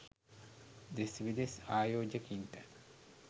දෙස් විදෙස් ආයෝජකයින්ට